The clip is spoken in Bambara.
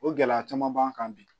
O gɛlɛya caman b'an kan bi